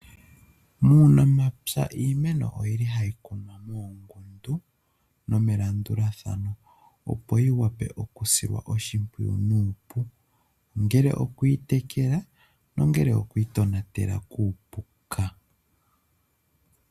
Muunamapya, iimeno oyi li ha yi kunwa muungundu, nomelandulathano opo yi vule, oku dilwa oshimpwiyu nuupu. Ongele oku yi tekela, ongele oku yi tonatela kuupuka.